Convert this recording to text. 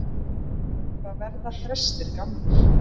Hvað verða þrestir gamlir?